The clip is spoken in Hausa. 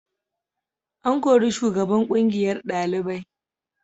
An kori shugaban kungiyar dalibai.